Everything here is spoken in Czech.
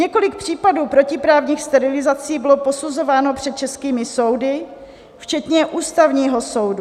Několik případů protiprávních sterilizací bylo posuzováno před českými soudy včetně Ústavního soudu.